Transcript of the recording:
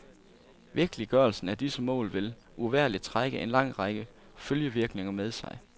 Virkeliggørelsen af disse mål vil uvægerlig trække en lang række følgevirkninger med sig.